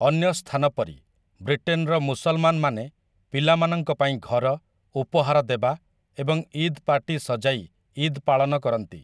ଅନ୍ୟ ସ୍ଥାନ ପରି, ବ୍ରିଟେନର ମୁସଲମାନମାନେ ପିଲାମାନଙ୍କ ପାଇଁ ଘର, ଉପହାର ଦେବା ଏବଂ ଇଦ୍‌ ପାର୍ଟୀ ସଜାଇ ଇଦ୍‌ ପାଳନ କରନ୍ତି ।